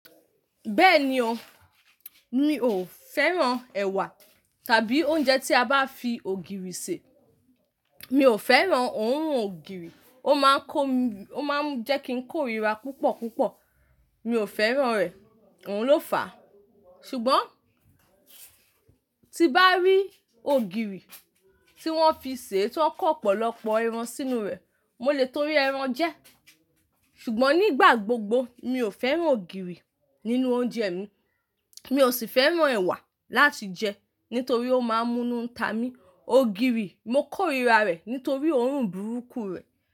Bẹ́ẹ̀ni o, mi ò fẹ́ràn ẹ̀wà tàbí oúnjẹ tí a bá fi ògìrì sè. Mi ò fẹ́ràn òórùn ògìrì, ó máa ń kó mi, ó máa ń jẹ́ kí n kórira púpọ̀ púpọ̀. Mi ò fẹ́ràn rẹ̀, òun ló fàá. Ṣùgbọ́n tí bá rí ògìrì tí wọ́n fi sè tó kọ́ ọ̀pọ̀lọpọ̀ ẹran sínú rẹ̀, mo lè torí ẹran jẹ ẹ́. Ṣùgbọ́n nígbà gbogbo mi ò fẹ́ràn ògìrì nínú oúnjẹ mi, mi ò sì fẹ́ràn ẹ̀wà láti jẹ nítorí ó máa ń múnu ta mi. Ògìrì, mo kórira rẹ̀ nítorí òórùn burúkú rẹ̀